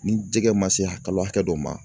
Ni jɛgɛ ma se hakɛ dɔ ma.